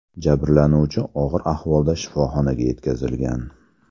Jabrlanuvchi og‘ir ahvolda shifoxonaga yetkazilgan.